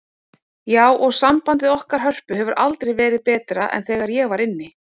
Já, og sambandið okkar Hörpu hefur aldrei verið betra en þegar ég var inni.